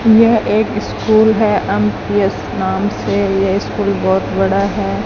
यह एक स्कूल है एम_पी_एस नाम से ये स्कूल बहुत बड़ा है।